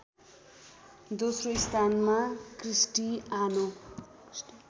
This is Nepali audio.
दोस्रो स्थानमा क्रिस्टीआनो